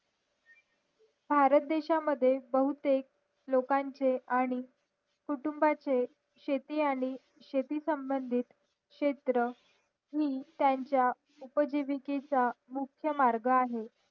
भारत देश मद्ये बहुतेक लोकांचे आणि कुटुंबाचे शेती आणि शेती संबंधित क्षेत्र नि त्यांचा उपजीवि केचा मार्ग आहे